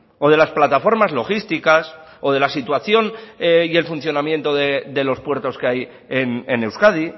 o de las plataformas logísticas o de la situación y el funcionamiento de los puertos que hay en euskadi